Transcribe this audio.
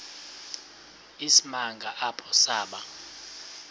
isimanga apho saba